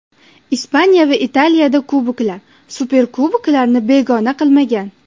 Ispaniya va Italiyada kuboklar, superkuboklarni begona qilmagan.